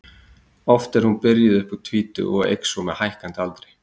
oft er hún byrjuð upp úr tvítugu og eykst svo með hækkandi aldri